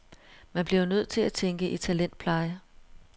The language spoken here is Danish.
Man bliver nødt til at tænke i talentpleje.